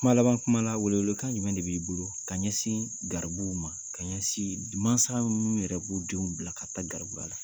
Kuma laban kuma la welewelekan jumɛn de b'i bolo ka ɲɛsin garibuw ma ka ɲɛsin mansa minnu yɛrɛ b'u denw bila ka taa garibuya la